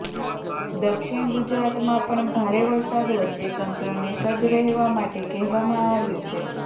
દક્ષિણ ગુજરાતમાં પણ ભારે વરસાદ વચ્ચે તંત્રને સજ્જ રહેવા માટે કહેવામાં આવ્યું છે